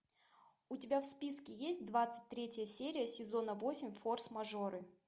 у тебя в списке есть двадцать третья серия сезона восемь форс мажоры